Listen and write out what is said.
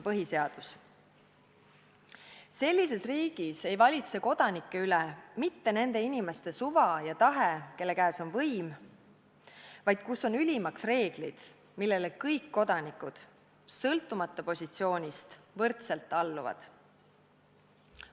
Sellises riigis ei valitse kodanike üle mitte nende inimeste suva ja tahe, kelle käes on võim, vaid kus on ülimaks reeglid, millele kõik kodanikud – sõltumata positsioonist – võrdselt alluvad.